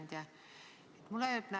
Hea ettekandja!